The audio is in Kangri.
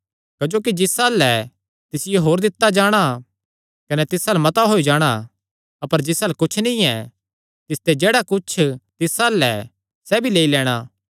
क्जोकि जिस अल्ल ऐ तिसियो होर दित्ता जाणा कने तिस अल्ल मता होई जाणा अपर जिस अल्ल कुच्छ नीं ऐ तिसते जेह्ड़ा कुच्छ तिस अल्ल ऐ सैह़ भी लेई लैणां